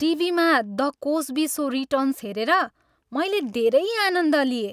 टिभीमा "the Cosby show" returns हेरेर मैले धेरै आनन्द लिएँ।